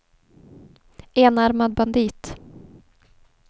enarmad bandit